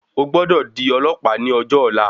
O gbọ́dọ̀ di ọlọ̀pàá ní ọjọ ọ̀la.